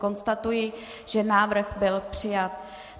Konstatuji, že návrh byl přijat.